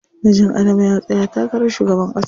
Mijin Adama ya tsaya takarar shugaban ƙasa.